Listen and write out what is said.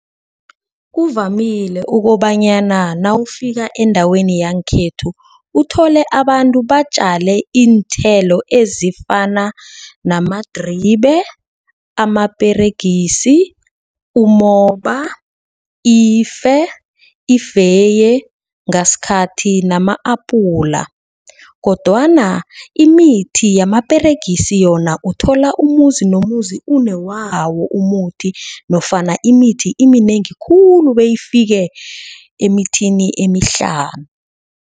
Kuvamile ukobanyana nawufika endaweni yangekhethu. Uthole abantu batjale iinthelo ezifana namadribe, amaperegisi, umoba, ife, ifenye ngasikhathi nama-apula. Kodwana imithi yamaperegisi yona uthola umuzi nomuzi unewawo umuthi nofana imithi iminengi khulu beyifike emithini emihlanu.